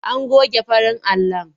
An goge farin alon.